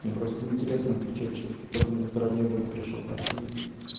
мне просто не интересно отвечать что кто-то мне тут разъёбывать пришёл по теме